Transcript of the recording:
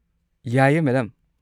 ꯌꯥꯏꯌꯦ, ꯃꯦꯗꯝ꯫